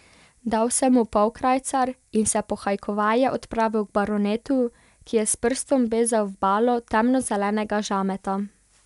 Dal sem mu polkrajcar in se pohajkovaje odpravil k baronetu, ki je s prstom bezal v balo temno zelenega žameta.